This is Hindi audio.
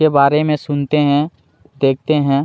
के बारे में सुनते है देखते है।